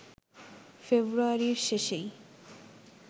ফেব্রুয়ারির শেষেই